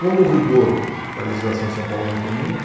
Como o rigor da legislação em São Paulo aumentou muito,